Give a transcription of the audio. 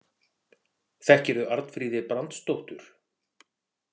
Þekkirðu Arnfríði Brandsdóttur?